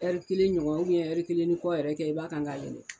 Ɛri kelen ɲɔgɔn ɛri kelen ni kɔ yɛrɛ kɛ i b'a kan k'a yɛlɛ.